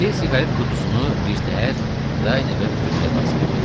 İndi siqaret qutusunu birtəhər Krayneve ötürmək lazım idi.